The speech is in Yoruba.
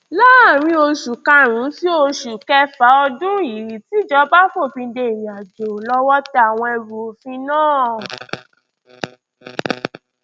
láàrin oṣù karùnún sí oṣù kẹfà ọdún yìí tí ijọba fòfin de ìrìn àjò lọwọ tẹ àwọn ẹrù òfin náà